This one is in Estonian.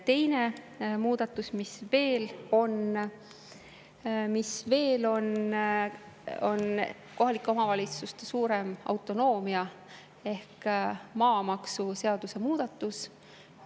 Teine muudatus, mis veel on, on anda kohalikele omavalitsustele suurem autonoomia maamaksuseaduse muutmisega.